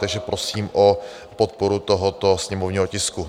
Takže prosím o podporu tohoto sněmovního tisku.